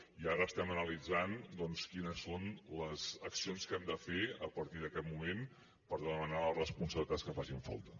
i ara estem analitzant doncs quines són les accions que hem de fer a partir d’aquest moment per demanar les responsabilitats que facin falta